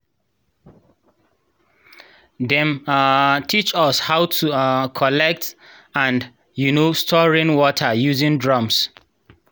dem um teach us how to um collect and um store rainwater using drums.